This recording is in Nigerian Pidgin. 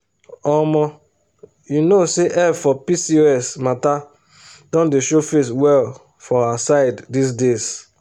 omo you known say help for pcos matter don dey show face well for our side these days.